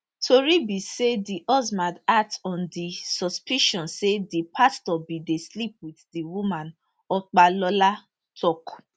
tori be say di husband act on di suspicion say di pastor bin dey sleep wit di woman opalola tok